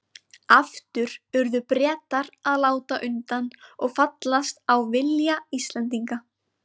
Aftur urðu Bretar að láta undan og fallast á vilja Íslendinga.